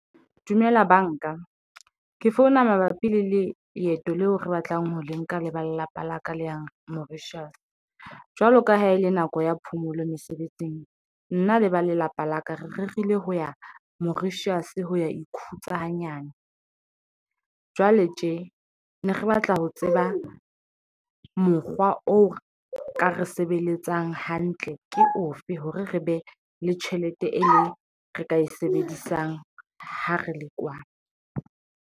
Dumela banka ke founa mabapi le le leeto leo re batlang ho le nka le ba lelapa la ka le ya Mauritius jwalo ka ha ele nako ya phomolo mesebetsing. nna le ba lelapa la ka, re rerile ho ya Mauritius. Ho ya ikhutsa hanyane jwale tje ne re batla ho tseba mokgwa o ka re sebeletsang hantle ke ofe hore re be le tjhelete eo re ka e sebedisang ho re le kwana.